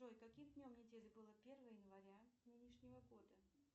джой каким днем недели было первое января нынешнего года